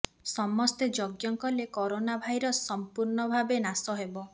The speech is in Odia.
ସମସ୍ତେ ଯଜ୍ଞ କଲେ କରୋନା ଭାଇରସ ସମ୍ପୂର୍ଣ୍ଣ ଭାବେ ନାଶ ହେବ